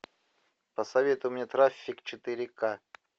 посоветуй мне трафик четыре ка